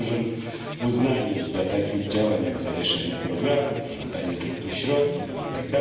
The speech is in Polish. się z dużym uznaniem, do takich działań jak zawieszenie programów, żądanie zwrotu środków itd.